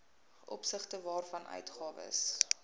opsigte waarvan uitgawes